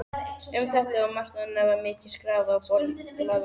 Um þetta og margt annað var mikið skrafað og bollalagt.